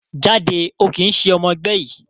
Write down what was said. Jáde, o kìí ṣe ọmọ ẹgbẹ́ yìí